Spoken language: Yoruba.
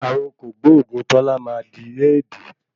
Ààrùn kògbóògùn Tọ́lá máa di Éèdi.